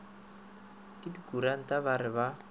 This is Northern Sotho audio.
ke dikuranta ba re ba